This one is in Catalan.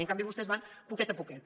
i en canvi vostès van a poquet a poquet